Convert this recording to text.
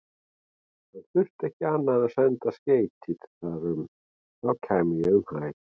Hann þyrfti ekki annað en senda skeyti þar um, þá kæmi ég um hæl.